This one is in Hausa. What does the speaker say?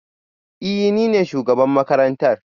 Ee, ni ne shugaban makarantar